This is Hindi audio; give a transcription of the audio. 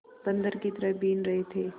बंदर की तरह बीन रहे थे